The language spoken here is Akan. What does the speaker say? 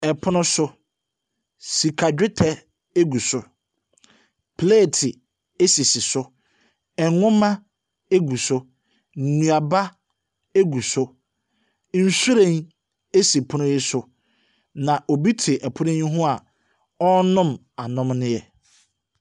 Ɛpono so, sika dwetɛ egu so, plate esisi so, nnwoma egu so, nnuaba egu so, nwhiren esi pono yi so, na obi te ɛpono yi ho a ɔrenom anomeneɛ.